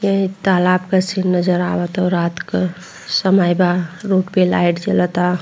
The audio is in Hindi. ये तालाब के सीन नज़र आवता रात के समय बा रोड पे लाइट जलाता।